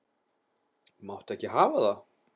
Máttu ekki hafa það.